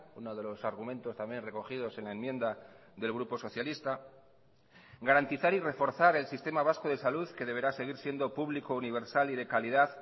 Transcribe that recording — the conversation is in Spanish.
uno de los argumentos también recogidos en la enmienda del grupo socialista garantizar y reforzar el sistema vasco de salud que deberá seguir siendo público universal y de calidad